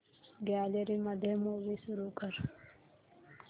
gallery मध्ये movie सुरू कर